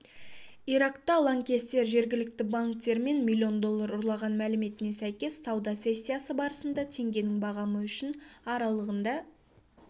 иракта лаңкестер жергілікті банктерден миллион доллар ұрлаған мәліметіне сәйкес сауда сессиясы барысында теңгенің бағамы үшін аралығында